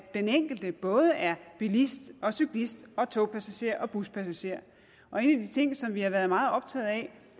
den enkelte både er bilist cyklist togpassager og buspassager og en af de ting som vi har været meget optaget af